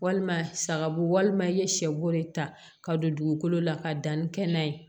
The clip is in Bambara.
Walima sagabo walima i ye sɛ bo de ta ka don dugukolo la ka dan ni kɛnɛ ye